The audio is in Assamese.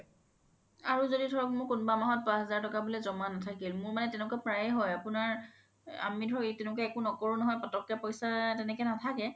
আৰু য্দি ধৰক কোনোবা মাহত five thousand এটা জ্মা নাথাকিল মোৰ মানে প্ৰায়ে হয় আপোনাৰ আমি ধৰক তেনেকুৱা একো নকৰো নহয় পতকে পইচা নাথাকে